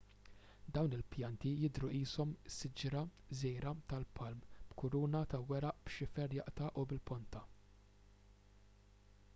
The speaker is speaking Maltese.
dawn il-pjanti jidhru qishom siġra żgħira tal-palm b'kuruna ta' weraq b'xifer jaqta' u bil-ponta